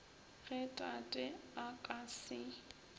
ge tate a ka se